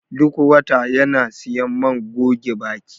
Duk wata yana siyan man goge baki